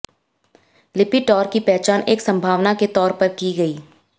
Lipitor की पहचान एक संभावना के तौर पर की गई